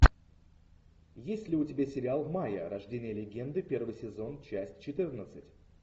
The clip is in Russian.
есть ли у тебя сериал майя рождение легенды первый сезон часть четырнадцать